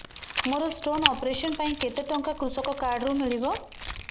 ମୋର stone operation ପାଇଁ କେତେ ଟଙ୍କା କୃଷକ କାର୍ଡ ରୁ ମିଳିବ